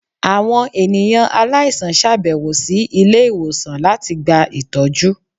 awọn eniyan aláísàn ṣabẹwo si ilé-iwósàn latí gbá itọjú